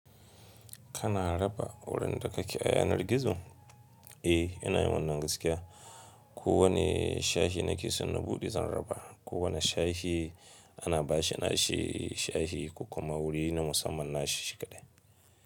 Kana raba wurin da kake ayanar gargizo? Eh, yana yin wanan gaskiya. Ko wane shahi nake son na buɗe zan raba. Ko wane shahi ana bashi na shi shahi, ko kuma wuri na musamman nashi shi kaɗai.